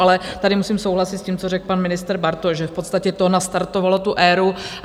Ale tady musím souhlasit s tím, co řekl pan ministr Bartoš, že v podstatě to nastartovalo tu éru.